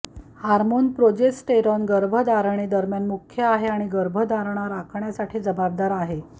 hormone progesterone गर्भधारणेदरम्यान मुख्य आहे आणि गर्भधारणा राखण्यासाठी जबाबदार आहे